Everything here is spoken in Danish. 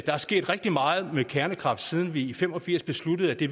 der er sket rigtig meget med kernekraft siden vi i nitten fem og firs besluttede at vi